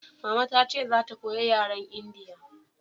mama ta ce za ta koya yaren su indiya